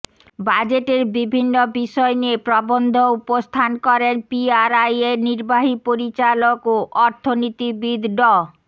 বাজেটের বিভিন্ন বিষয় নিয়ে প্রবন্ধ উপস্থান করেন পিআরআইয়ের নির্বাহী পরিচালক ও অর্থনীতিবিদ ড